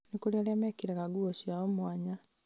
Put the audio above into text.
nĩ kũrĩ arĩa mekĩraga nguo ciao mwanya